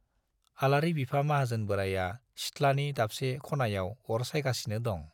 आलारि बिफा माहाजोन बोराइया सिथ्लानि दाबसे ख'नायाव अर सायगासिनो दं।